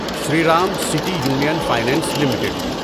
Shriram city union finance limited